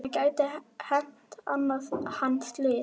Það gæti hent hann slys.